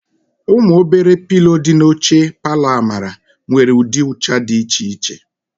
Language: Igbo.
Ụmụ obere pilo dị n'elu oche palọ Amara nwere ụdị ụcha dị iche iche.